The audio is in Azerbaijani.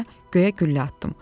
Ona görə göyə güllə atdım.